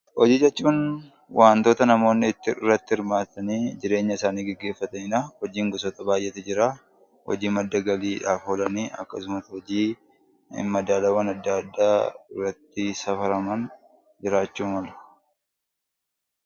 Hojii jechuun waantota namoonni itti irratti hirmaatanii jireenyasaanii geggeeffatanidhaa. Hojiin gosoota baay'eetu jiraa. Hojii madda galiidhaaf oolan akkasuams hojii madaalawan adda addaa irratti safaraman jiraachuu malu.